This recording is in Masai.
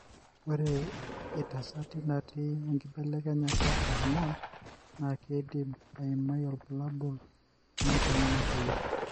ore itasati natii enkibelekenyata e homones na kindim aimai ilbulabul lenkongu natoyio.